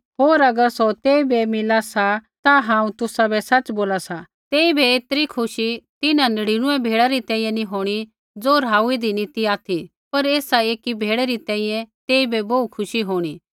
होर अगर सौ तेइबै मिला सा ता हांऊँ तुसाबै सच़ बोला सा तेइबै ऐतरी खुशी तिन्हां नढ़ीनुऐ भेड़ै री तैंईंयैं नी होंणी ज़ो राहुईदी नी ती ऑथि पर एसा एकी भेड़ै री तैंईंयैं तेइबै बोहू खुशी होंणी